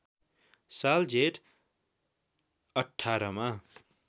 साल जेठ १८ मा